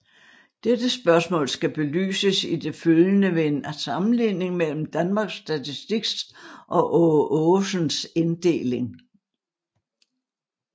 Dette spørgsmål skal belyses i det følgende ved en sammenligning mellem Danmarks Statistiks og Aage Aagesens inddeling